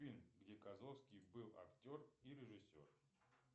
фильм где козловский был актер и режиссер